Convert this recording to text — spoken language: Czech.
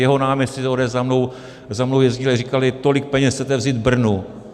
Jeho náměstci z ODS za mnou jezdili a říkali - tolik peněz chcete vzít Brnu?